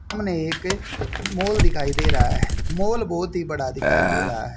सामने एक मॉल दिखाई दे रहा है मॉल बहोत ही बड़ा दिखाई दे रहा है।